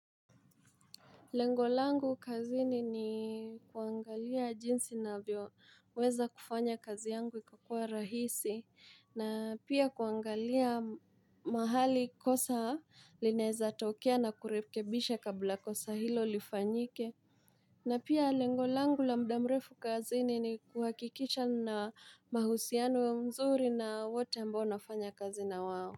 Lengo langu kazini ni kuangalia jinsi navyo weza kufanya kazi yangu ikakua rahisi na pia kuangalia mahali kosa linaeza tokea na kurekebisha kabla kosa hilo lifanyike. Na pia lengo langu la muda mrefu kazini ni kuhakikisha nina mahusianu mzuri na wote ambao nafanya kazi na wao.